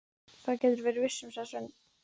Það geturðu verið viss um, sagði Sveinn.